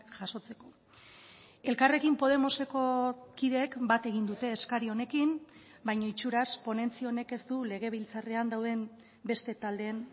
jasotzeko elkarrekin podemoseko kideek bat egin dute eskari honekin baina itxuraz ponentzia honek ez du legebiltzarrean dauden beste taldeen